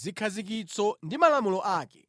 zikhazikitso ndi malamulo ake.